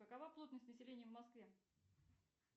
какова плотность населения в москве